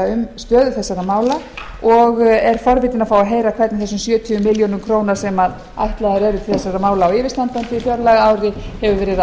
um stöðu þessara mála og er forvitin að fá að heyra hvernig þessum sjötíu milljónum króna sem ætlaðar eru til þessara mála á yfirstandandi fjárlagaári hefur verið